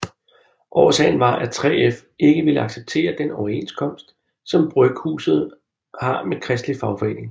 Årsagen var at 3F ikke ville acceptere den overenskomst som bryghuset har med Kristelig Fagforening